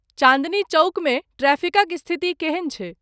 चाँदनी चौकमे ट्रैफिकक स्थिति केहन छै